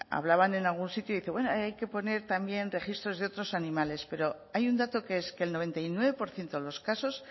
hablaban en algún sitio dice bueno hay que poner también registros de otros animales pero hay un dato que es que el noventa y nueve por ciento de los casos